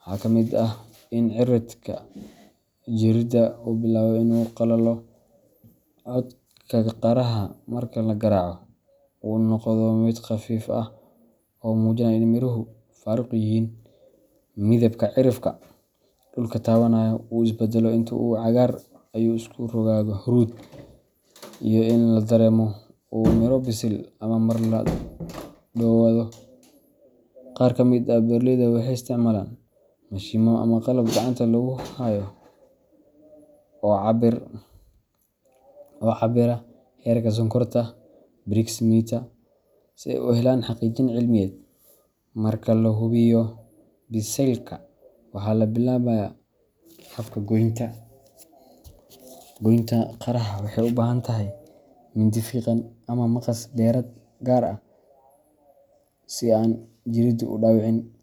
waxaa ka mid ah in ciridka jirridda uu bilaabo inuu qalalo, codka qaraha marka la garaaco uu noqdo mid khafiif ah oo muujinaya in miruhu faaruq yihiin, midabka cirifka dhulka taabanaya uu isbedelo intuu ahaa cagaar ayuu isu rogaa huruud, iyo in la dareemo ur miro bisil ah marka la dhowaado. Qaar ka mid ah beeraleyda waxay isticmaalaan mashiinno ama qalab gacanta lagu hayo oo cabbira heerka sonkorta brix meter, si ay u helaan xaqiijin cilmiyeed. Marka la hubiyo biseylka, waxaa bilaabmaya habka goynta. Goynta qaraha waxay u baahan tahay mindi fiiqan ama maqas beereed gaar ah si aan jirriddu u dhaawicin.